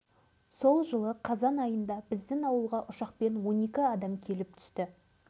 оның тағдыры да не болары белгісіз бәрі полигонның кесірінен мен осы селолық төрағасы болып жұмысқа